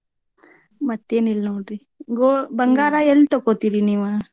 ಮತ್ತೇನಿಲ್ ನೋಡ್ರಿ ಗೊ ಬಂಗಾರ ಎಲ್ ತಕೋತೀರಿ ನೀವ?